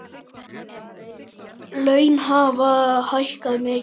Laun hafi hækkað mikið.